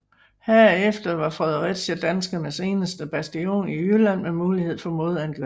Herefter var Fredericia danskernes eneste bastion i Jylland med mulighed for modangreb